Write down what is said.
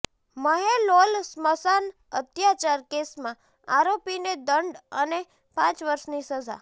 મહેલોલ સ્મશાન અત્યાચાર કેસમાં આરોપીને દંડ અને પ વર્ષની સજા